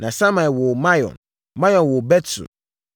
Na Samai woo Maon. Maon woo Bet-Sur.